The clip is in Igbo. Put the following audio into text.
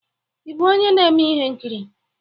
Ị bụ onye na-eme ihe nkiri?